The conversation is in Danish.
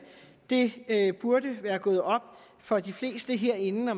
det burde være gået op for de fleste herinde når